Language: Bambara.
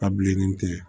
A bilenni tigɛ